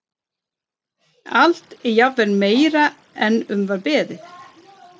Allt er jafnvel meira en um var beðið.